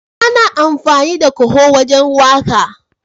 Ana amfani da kaho wajen waka.